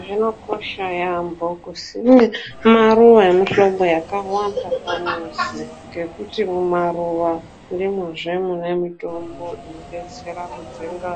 Zvinokosha yamho kusime maruwa emihlobo akawanda pamuzi ngekuti mumaruwa ndimwozvo mune mutombo inodetsera kudzinga